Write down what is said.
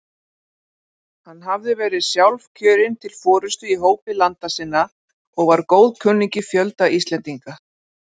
Hann hafði verið sjálfkjörinn til forystu í hópi landa sinna og var góðkunningi fjölda Íslendinga.